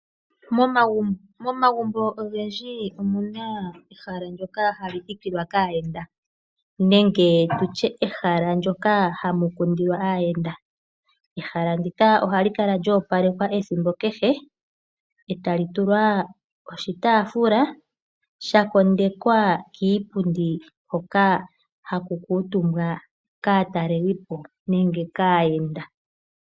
Momagumbo ogendji omuna ehala ndyoka hali thikilwa kaayenda nenge tutye ehala ndyoka hamu kundilwa aayenda. Ehala ndika ohali kala lyo opalekwa ethimbo kehe eta li tulwa oshitaafula sha kondekwa kiipundi hoka haku kuutumbwa kaatalelipo nenge kaayenda.